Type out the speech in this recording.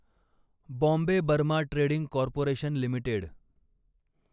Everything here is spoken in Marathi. Bombay Burma trading corporation limited